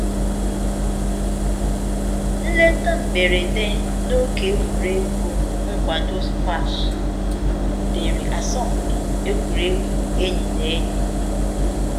Nleta mberede na oge egwuregwu nkwado squash butere asọmpi egwuregwu enyi na enyi